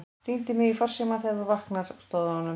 Hringdu í mig í farsímann þegar þú vaknar, stóð á honum.